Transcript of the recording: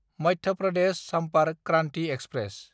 Madhya Pradesh Sampark Kranti express